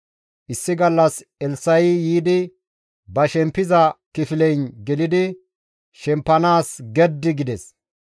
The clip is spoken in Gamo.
Issi gallas Elssa7i yiidi ba shempiza kifileyn gelidi shempanaas geddi gides.